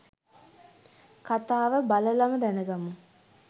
කථාව බලලම දැනගමු.